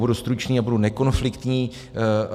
Budu stručný a budu nekonfliktní.